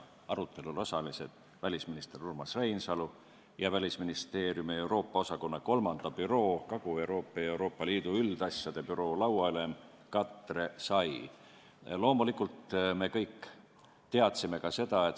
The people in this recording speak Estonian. Arutelul osalesid välisminister Urmas Reinsalu ja Välisministeeriumi Euroopa osakonna 3. büroo lauaülem Katre Sai.